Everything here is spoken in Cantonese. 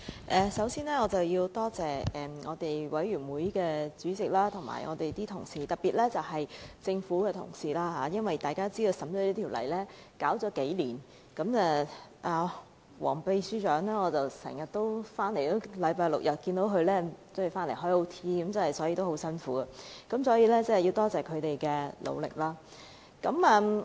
主席，首先我要多謝法案委員會主席及各位同事，特別是政府的同事，大家都知道《私營骨灰安置所條例草案》的審議已經歷數載，我經常看到首席助理秘書長黃淑嫻星期六、日都加班，非常辛苦，我要多謝他們的努力。